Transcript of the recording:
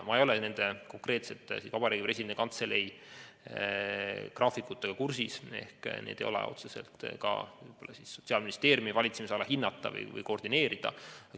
Ma ei ole nende konkreetsete Vabariigi Presidendi Kantselei graafikutega kursis, need ei ole otseselt ka Sotsiaalministeeriumi hinnata või koordineerida.